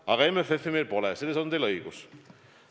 Aga MFF-i meil pole, selles on teil õigus.